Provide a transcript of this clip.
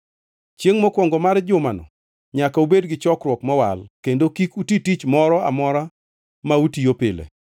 Chiengʼ mokwongo mar jumano nyaka ubed gi chokruok mowal, kendo kik uti tich moro amora ma utiyo pile.